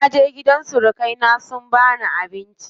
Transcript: Naje gidan surukai na sun bani abinci.